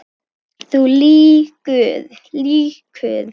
Þú lýgur.